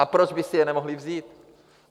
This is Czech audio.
A proč by si je nemohli vzít?